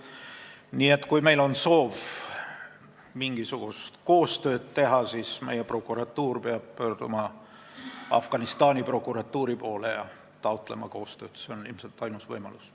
Nii et kui meil on soov mingisugust koostööd teha, siis peab meie prokuratuur pöörduma Afganistani prokuratuuri poole ja koostööd taotlema – see on ilmselt ainus võimalus.